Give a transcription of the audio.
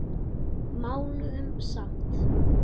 Máluðum samt.